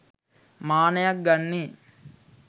මානයක් ගන්නේ.